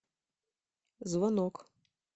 звонок